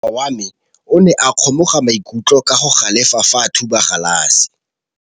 Morwa wa me o ne a kgomoga maikutlo ka go galefa fa a thuba galase.